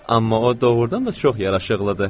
Amma o doğurdan da çox yaraşıqlıdır.